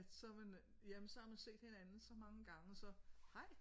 At så man øh jamen så har man set hinanden så mange gange så hej